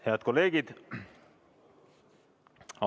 Head kolleegid!